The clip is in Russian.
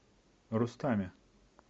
рустаме